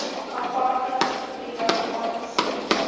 aparte gebiede aangesien